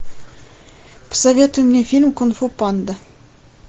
посоветуй мне фильм кунг фу панда